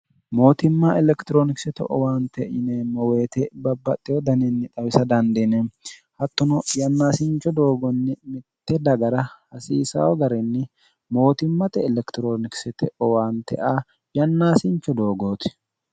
mootimma elekitiroonikisete owaante yineemmo woyite babbaxxeyo daniinni xawisa dandiine hattono yannaasincho doogonni mitte dagara hasiisayo garinni mootimmate elekitiroonikisete owaante a yannaasincho doogooti